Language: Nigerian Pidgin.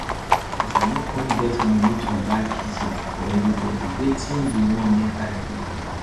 as i no come get money to buy pizza for everybody wetin you wan make i do